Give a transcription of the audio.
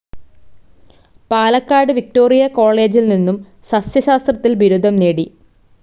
Palakkad Victoria കോളേജിൽ നിന്നും സസ്സ്യശാസ്ത്രത്തിൽ ബിരുദം നേടി.